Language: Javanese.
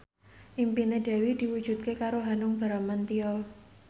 impine Dewi diwujudke karo Hanung Bramantyo